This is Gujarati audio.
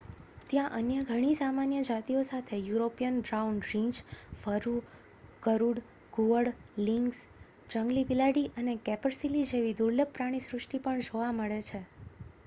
ત્યાં અન્ય ઘણી સામાન્ય જાતિઓ સાથે યુરોપિયન બ્રાઉન રીંછ વરુ ગરુડ ઘુવડ લિંક્સ જંગલી બિલાડી અને કેપરસીલી જેવી દુર્લભ પ્રાણીસૃષ્ટિ પણ જોવા મળે છે